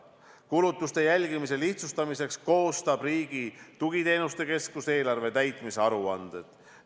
Kulutuste jälgimise lihtsustamiseks koostab Riigi Tugiteenuste Keskus eelarve täitmise aruanded.